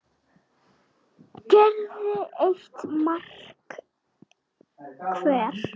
gerði eitt mark hver.